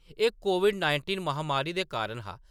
एह्‌‌ COVID nineteen महामारी दे कारण हा ।